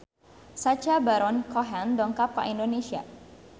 Sacha Baron Cohen dongkap ka Indonesia